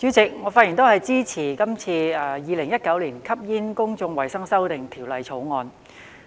主席，我發言支持《2019年吸煙條例草案》。